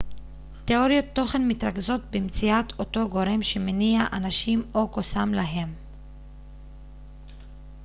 תיאוריות תוכן מתרכזות במציאת אותו גורם שמניע אנשים או קוסם להם